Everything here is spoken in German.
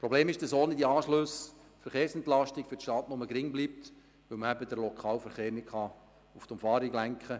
Das Problem ist, dass ohne die Anschlüsse die Verkehrsentlastung für die Stadt nur gering bleibt, weil man den Lokalverkehr nicht auf die Umfahrung lenken kann.